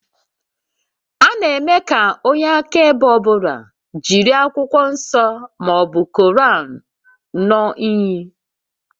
A na-eme ka onye akaebe ọ bụla jiri Akwụkwọ Nsọ ma ọ bụ Koran ṅụọ íyí